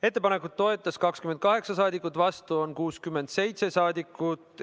Ettepanekut toetas 28 saadikut, vastu on 67 saadikut.